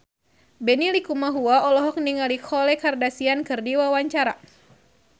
Benny Likumahua olohok ningali Khloe Kardashian keur diwawancara